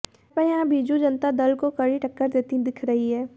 भाजपा यहां बीजू जनता दल को कड़ी टक्कर देती दिख रही है